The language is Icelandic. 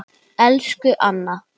Elsku Anna.